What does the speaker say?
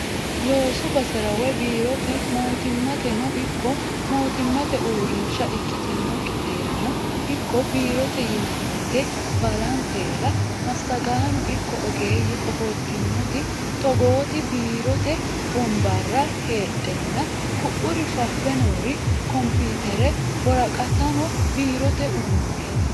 Loosu basera woyi biirote Mootimmateno ikko mootimmate uurrinsha ikkitinokkiterano ikko biirote yinannite baallantera massagaano ikko ogeeyye ofoltanoti togoti biirote wonbara heedhano ku"uri fafe noori komputere, woraqattano biirote uduuneti.